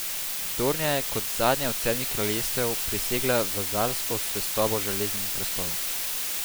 Dornija je kot zadnje od Sedmih kraljestev prisegla vazalsko zvestobo Železnemu prestolu.